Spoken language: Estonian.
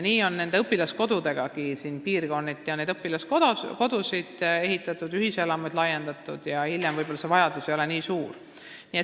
Nii on nende õpilaskodudegagi, piirkonniti on neid ehitatud ja ühiselamuid laiendatud, aga hiljem võib-olla see vajadus ei ole nii suur olnud.